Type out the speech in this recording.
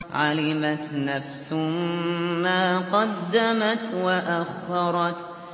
عَلِمَتْ نَفْسٌ مَّا قَدَّمَتْ وَأَخَّرَتْ